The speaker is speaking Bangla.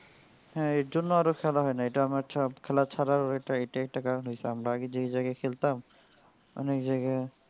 হ্যাঁ এর জন্য আরো খেলা হয় না এটা আমার একটা খেলা ছাড়ার এটাই একটা কারণ হইসে. আমরা আগে যেই জায়গায় খেলতাম এখন ওই জায়গায়.